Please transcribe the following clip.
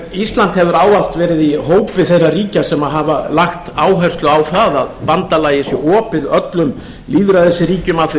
ísland hefur ávallt verið í hópi þeirra ríkja sem hafa lagt áherslu á það að bandalagið sé opið öllum lýðræðisríkjum að því